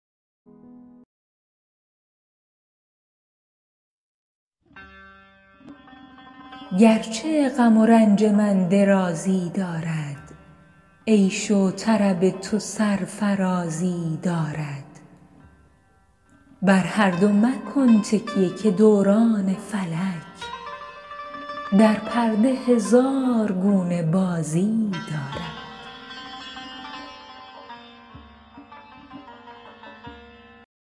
گرچه غم و رنج من درازی دارد عیش و طرب تو سرفرازی دارد بر هر دو مکن تکیه که دوران فلک در پرده هزار گونه بازی دارد